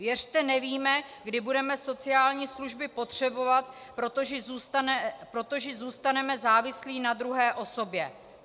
Věřte, nevíme, kdy budeme sociální služby potřebovat, protože zůstaneme závislí na druhé osobě.